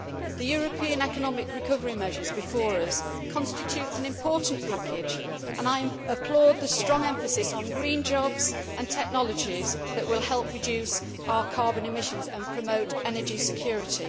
The European economic recovery measures before us constitute an important package, and I applaud the strong emphasis on green jobs and technologies that will help reduce our carbon emissions and promote energy security.